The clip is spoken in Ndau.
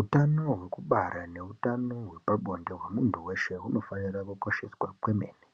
Utano hwekubara neutano hwepabonde hwemuntu weshe hunofanira kukosheswa kwemene